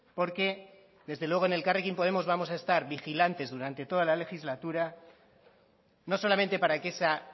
porque desde luego en elkarrekin podemos vamos a estar vigilantes durante toda la legislatura no solamente para que esa